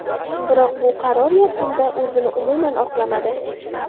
Biroq bu qaror yakunda o‘zini umuman oqlamadi.